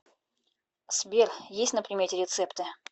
сбер есть на примете рецепты